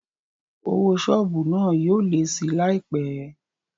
Owó sọ́ọ̀bù náà yóò lé síi láìpé